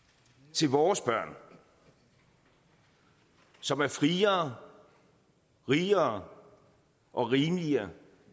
til vores børn som er friere rigere og rimeligere